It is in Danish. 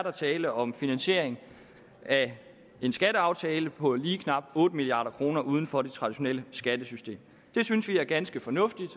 er tale om finansiering af en skatteaftale på lige knap otte milliard kroner uden for det traditionelle skattesystem det synes vi er ganske fornuftigt